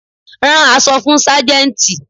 Rán aṣọ fún Sájẹ́ntì.